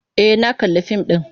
E, na kalli fim ɗin.